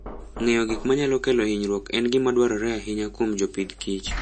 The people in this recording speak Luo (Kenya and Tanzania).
Ng'eyo gik manyalo kelo hinyruok en gima dwarore ahinya kuom jopith kich